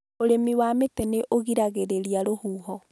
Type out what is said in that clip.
Ũrĩmi wa mĩtĩ nĩ ũgiragĩrĩria rũhuho